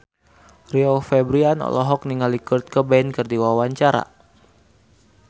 Rio Febrian olohok ningali Kurt Cobain keur diwawancara